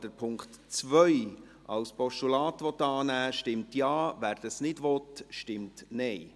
Wer den Punkt 2 als Postulat annehmen will, stimmt Ja, wer dies nicht will, stimmt Nein.